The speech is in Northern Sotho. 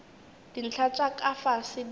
dintlha tša ka fase di